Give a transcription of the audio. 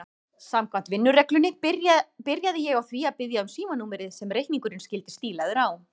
Samkvæmt vinnureglunni byrjaði ég á því að biðja um símanúmerið sem reikningurinn skyldi stílaður á.